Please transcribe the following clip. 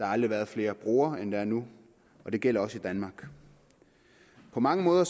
aldrig været flere brugere end der er nu og det gælder også i danmark på mange måder